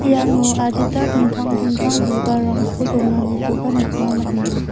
iano adita dingtang dingtang bibalrangko donanikoba nikna man·enga.